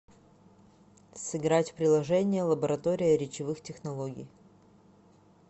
сыграть в приложение лаборатория речевых технологий